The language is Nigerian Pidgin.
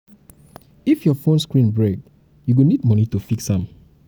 if your fone screen break you go need moni to fix am.